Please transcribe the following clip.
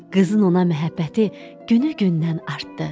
Qızın ona məhəbbəti günü gündən artdı.